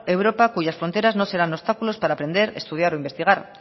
europa cuyas fronteras no serán obstáculos para aprender estudiar o investigar